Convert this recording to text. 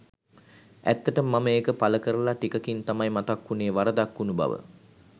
ඇත්තටම මම ඒක පලකරලා ටිකකින් තමයි මතක් උනේ වරදක් උනු බව.